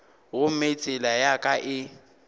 gomme tsela ya ka e